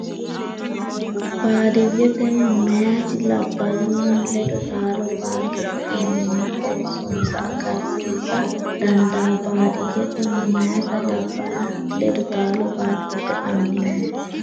Baadi- yyete meyaati labballunni ledo taalo baattote annimma qoossonsa agarsi- isa dandaa Baadi- yyete meyaati labballunni ledo taalo baattote annimma.